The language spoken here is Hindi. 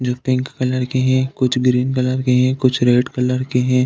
जो पिंक कलर के हैं। कुछ ग्रीन कलर के हैं। कुछ रेड कलर के हैं।